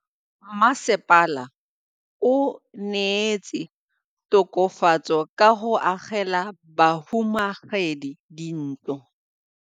Mmasepala o neetse tokafatsô ka go agela bahumanegi dintlo.